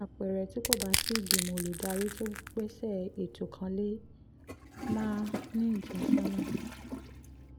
bí àpẹẹrẹ tí kò bá sí ìgbìmọ̀ olùdarí tó gbéṣẹ́ ètò kan lè máà um ní ìtọ́sọ́nà